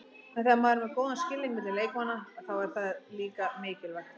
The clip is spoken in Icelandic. En þegar maður er með góðan skilning milli leikmanna, þá er það líka mikilvægt.